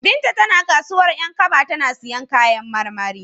Binta tana kasuwar 'Yankaba tana siyan kayan marmari.